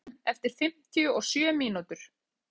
Ríkey, hringdu í Gefn eftir fimmtíu og sjö mínútur.